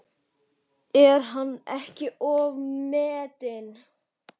Er hann ekki ofmetinn?